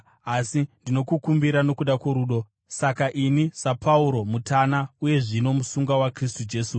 asi ndinokukumbira nokuda kworudo. Saka ini, saPauro mutana uye zvino musungwa waKristu Jesu